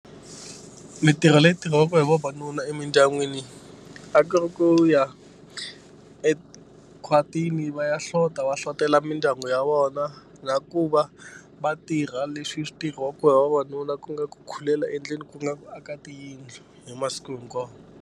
Mintirho leyi tirhiwaka hi vavanuna emindyangwini a ku ri ku ya ekhwatini va ya hlota va hlotelo mindyangu ya vona na ku va va tirha leswi swi tirhiwaka hi vavanuna ku nga ku khulela endleni ku nga ku aka tiyindlu hi masiku hinkwawo.